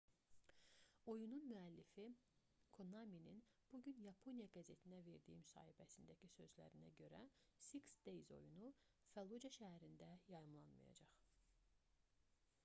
oyunun müəllifi konaminin bu gün yaponiya qəzetinə verdiyi mühasibəsindəki sözlərinə görə six days oyunu fəllucə şəhərində yayımlanmayacaq